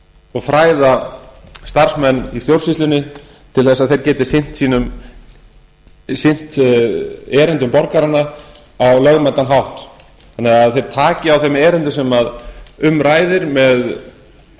og fræða starfsmenn í stjórnsýslunni svo þeir geti sinnt erindum borgaranna á lögmætan hátt þannig að þeir taki á þeim erindum sem um ræðir með